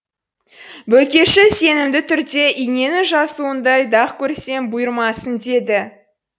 бөлкеші сенімді түрде иненің жасуындай дақ көрсем бұйырмасын деді